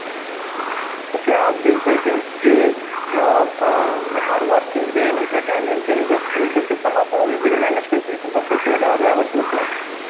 ତ ସିଏ obviously ସେ ନିଜେ ଅ ଅ hardworking ରେ ନିଜ talent ରେ ନିଜ skill ରେ ସେ ସମସ୍ତଙ୍କୁ easily manage କରିପାରିବ ତ ସେଇଠି Dowry ର ଆବଶ୍ୟକତା ନାହିଁ